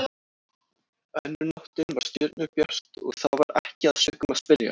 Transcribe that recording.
Önnur nóttin var stjörnubjört og þá var ekki að sökum að spyrja.